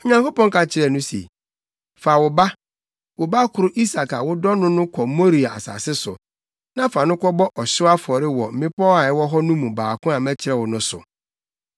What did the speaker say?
Onyankopɔn ka kyerɛɛ no se, “Fa wo ba, wo ba koro Isak a wodɔ no no kɔ Moria asase so, na fa no kɔbɔ ɔhyew afɔre wɔ mmepɔw a ɛwɔ hɔ no mu baako a mɛkyerɛ wo no so.”